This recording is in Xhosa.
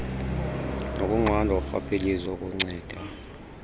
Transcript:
nokunqandwa korhwaphilizo okunceda